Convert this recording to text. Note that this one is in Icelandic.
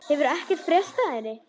Hefur ekkert frést af henni?